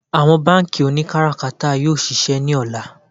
Àwọn bánkì oníkátàkárà yóò ṣiṣẹ́ ní ọ̀la